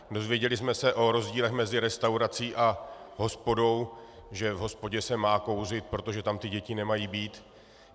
Dozvěděli jsme se o rozdílech mezi restaurací a hospodou, že v hospodě se má kouřit, protože tam ty děti nemají být.